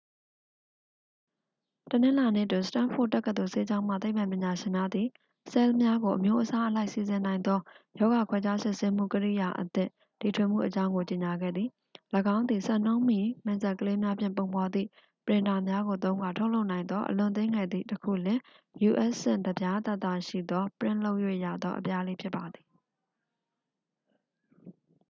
တနင်္လာနေ့တွင် စတန်းဖို့ဒ်တက္ကသိုလ် ဆေးကျောင်းမှ သိပ္ပံပညာရှင်များသည် ဆဲလ်များကို အမျိုးအစားအလိုက် စီစဉ်နိုင်သော ရောဂါခွဲခြားစစ်ဆေးမှု ကိရိယာအသစ် တီထွင်မှုအကြောင်းကို ကြေညာခဲ့သည် ၎င်းသည် စံနှုန်းမီ မင်စက်ကလေးများဖြင့် ပုံဖော်သည့် ပရင်တာများကို သုံးကာ ထုတ်လုပ်နိုင်သော အလွန်သေးငယ်သည့် တစ်ခုလျှင် u.s. ဆင့်တစ်ပြားသာသာရှိသော ပရင့်လုပ်၍ရသော အပြားလေးဖြစ်ပါသည်